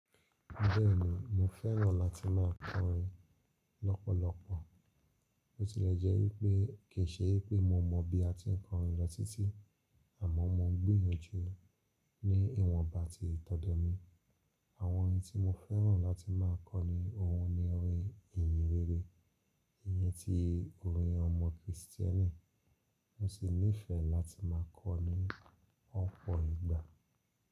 Bẹ́ẹ̀ni mo fẹ́ràn láti má kọrin lọ́pọ̀lọpọ̀. Bo ti lẹ jẹ́ wípé kì í ṣe pé mo mọ bí a ti ń kọrin lọ títí àmọ́ mo ń gbìyànjú ní ìwọ̀nba ti ìtọ́dọ́ mi. Àwọn orin tí mo fẹ́ràn láti má kọ ni ohun ni orin ìyìnrere, ìyẹn ti orin ọmọ Kristẹni. Mo sì nífẹ̀ẹ́ láti má kọ ní ọ́pọ̀ ìgbà.